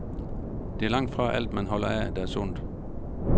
Det er langtfra alt, man holder af, der er sundt.